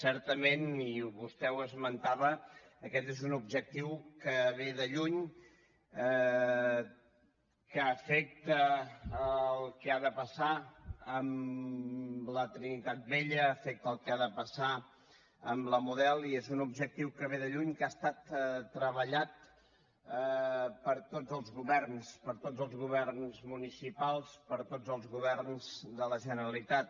certament i vostè ho esmentava aquest és un objectiu que ve de lluny que afecta el que ha de passar amb la trinitat vella afecta el que ha de passar amb la model i és un objectiu que ve de lluny que ha estat treballat per tots els governs per tots els governs municipals per tots els governs de la generalitat